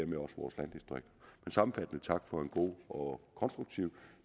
sammenfattende tak for en god og konstruktiv